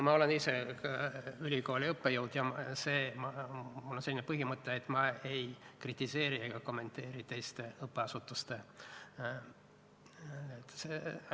Ma olen ise ülikooli õppejõud ja mul on selline põhimõte, et ma ei kritiseeri ega kommenteeri teiste õppeasutuste otsuseid.